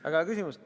Väga hea küsimus.